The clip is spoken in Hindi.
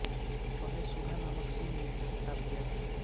पहले सुधा नामक शिव ने इसे प्राप्त किया था